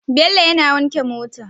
Bello yAna wanke mota